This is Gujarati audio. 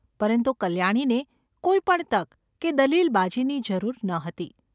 પરંતુ કલ્યાણીને કોઈ પણ તક કે દલીલબાજીની જરૂર ન હતી.